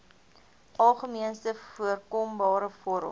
algemeenste voorkombare vorm